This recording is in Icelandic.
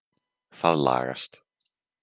Það lagast.